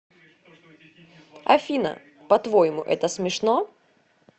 афина по твоему это смешно